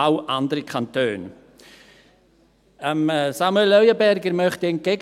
Samuel Leuenberger möchte ich entgegnen: